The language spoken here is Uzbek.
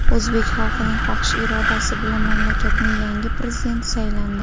O‘zbek xalqining xohish-irodasi bilan mamlakatning yangi Prezidenti saylandi.